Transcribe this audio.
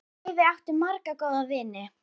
Laufey átti marga góða vini.